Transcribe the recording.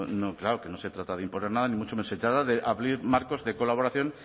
claro que no se trata de imponer nada ni mucho menos se trata de abrir marcos de colaboración